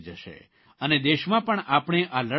અને દેશમાં પણ આપણે આ લડાઇ જીતીશું